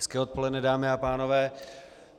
Hezké odpoledne dámy a pánové.